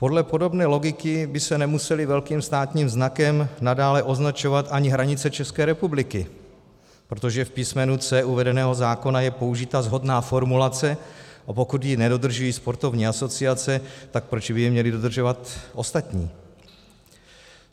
Podle podobné logiky by se nemusely velkým státním znakem nadále označovat ani hranice České republiky, protože v písmenu c) uvedeného zákona je použita shodná formulace, a pokud ji nedodržují sportovní asociace, tak proč by ji měli dodržovat ostatní?